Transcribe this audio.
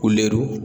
Ko